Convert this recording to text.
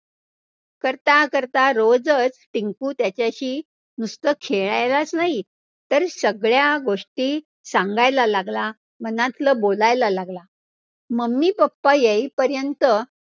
करता करता रोजच टिंकु त्याच्याशी नुसतं खेळायलाचं नाही, तर सगळ्या गोष्टी सांगायला लागला, मनातलं बोलायला लागला. mummy papa येईपर्यंत